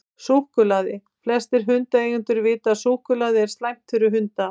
Súkkulaði: Flestir hundaeigendur vita að súkkulaði er slæmt fyrir hunda.